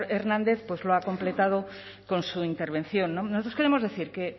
hernández lo ha completado con su intervención nosotros queremos decir que